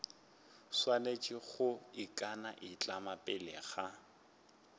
swanetše go ikanaitlama pele ga